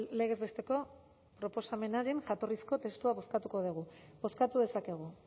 legez besteko proposamenaren jatorrizko testua bozkatuko dugu bozkatu dezakegu